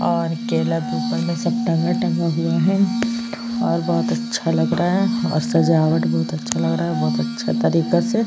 और केला भी ऊपर में सब टंगा टंगा हुआ है और बहोत अच्छा लग रहा है और सजावट बहोत अच्छा लग रहा है बहोत अच्छा तरीका से।